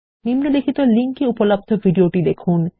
নিম্নলিখিত লিঙ্ক এ উপলব্ধ ভিডিওটি দেখুন